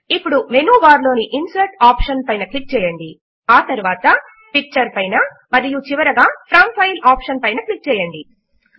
ఇప్పుడు menu bar లోని insert option పైన క్లిక్ చేయండి ఆ తరువాత పిక్చర్ పైన మరియు చివరగా ఫ్రోమ్ ఫైల్ ఆప్షన్ పైన క్లిక్ చేయండి